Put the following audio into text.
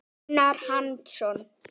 Gunnar Hansson